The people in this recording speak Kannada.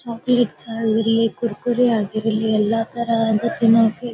ಚೊಕೊಲೇಟ್ಸ್ ಆಗಿರ್ಲಿ ಕುರ್ಕುರೇ ಆಗಿರ್ಲಿ ಎಲ್ಲ ತರಹದ ತಿನ್ನೋಕೆ--